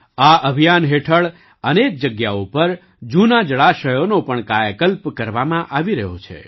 આ અભિયાન હેઠળ અનેક જગ્યાઓ પર જૂનાં જળાશયોનો પણ કાયાકલ્પ કરવામાં આવી રહ્યો છે